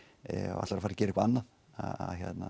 ætlar að fara að gera eitthvað annað að